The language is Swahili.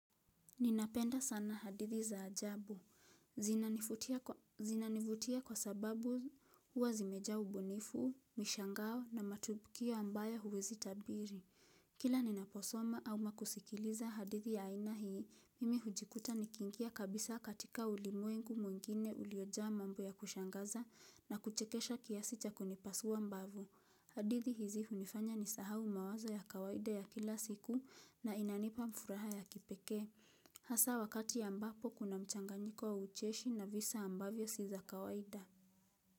Ninapenda sana hadithi za ajabu. Zinanivutia Zinanivutia kwa sababu huwa zimejaa ubunifu, mishangao na matukio ambayo huwezi tabiri. Kila ninaposoma ama kusikiliza hadithi ya aina hii, mimi hujikuta nikingia kabisa katika ulimwengu mwingine uliojaa mambo ya kushangaza na kuchekesha kiasi cha kunipasua mbavu. Hadithi hizi hunifanya nisahau mawazo ya kawaida ya kila siku na inanipa furaha ya kipekee. Hasa wakati ambapo kuna mchanganyiko wa ucheshi na visa ambavyo si za kawaida.